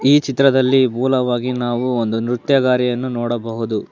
ಈ ಚಿತ್ರದಲ್ಲಿ ಮೂಲವಾಗಿ ನಾವು ಒಂದು ನೃತ್ಯದಾರಿಯನ್ನು ನೋಡಬಹುದು.